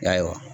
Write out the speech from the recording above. Yarɔ